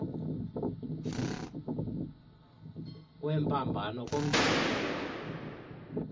kwembambano kumbindi mpuma